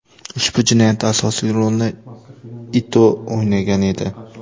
Ushbu jinoyatda asosiy rolni Ito o‘ynagan edi.